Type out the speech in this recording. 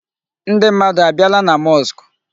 Ndị mmadụ abịala na mosque?